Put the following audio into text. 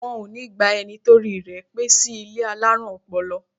Wọn ó ní gba ẹni torí rẹ̀ pé sí ilé alárùn ọpọlọ